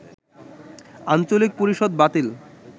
আঞ্চলিক পরিষদ বাতিল